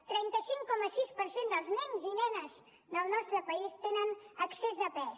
el trenta cinc coma sis per cent dels nens i nenes del nostre país tenen excés de pes